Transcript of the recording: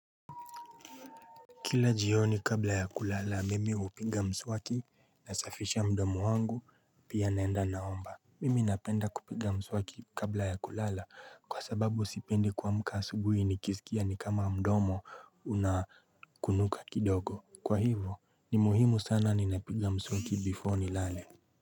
Kila jioni kabla ya kulala mimi hupiga mswaki nasafisha mdomo wangu pia naenda naomba Mimi napenda kupiga mswaki kabla ya kulala kwa sababu sipendi kuamka asubuhi nikisikia ni kama mdomo una kunuka kidogo Kwa hivo ni muhimu sana ninapiga mswaki before nilale.